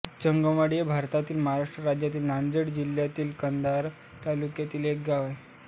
जंगमवाडी हे भारताच्या महाराष्ट्र राज्यातील नांदेड जिल्ह्यातील कंधार तालुक्यातील एक गाव आहे